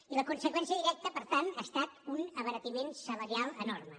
i la conseqüència directa per tant ha estat un abaratiment salarial enorme